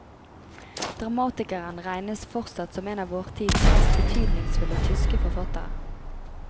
Dramatikeren regnes fortsatt som en av vår tids mest betydningsfulle tyske forfattere.